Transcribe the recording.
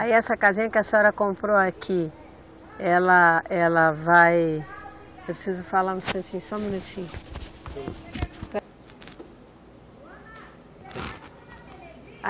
Aí essa casinha que a senhora comprou aqui, ela, ela vai. Eu preciso falar um instantinho, só um minutinho.